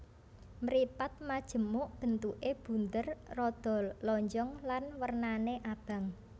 Mripat majemuk bentuké bunder rada lonjong lan wernané abang